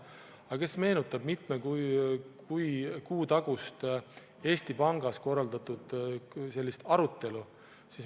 Aga meenutage mitme kuu tagust Eesti Pangas korraldatud arutelu.